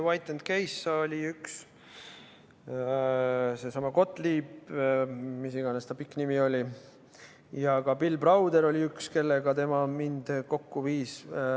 White & Case oli üks, seesama Gottlieb – mis iganes ta pikk nimi oli – ja ka Bill Browder oli see, kellega tema mind kokku viis.